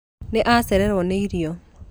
Nĩ acererwo nĩ irio